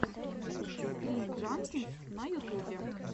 скрин джанкиз на ютубе